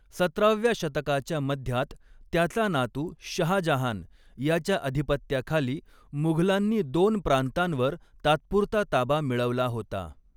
सतराव्या शतकाच्या मध्यात त्याचा नातू शहाजहान याच्या अधिपत्याखाली मुघलांनी दोन प्रांतांवर तात्पुरता ताबा मिळवला होता.